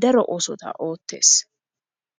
daro oosota ootees.